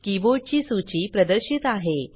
keyboard ची सूची प्रदर्शित आहे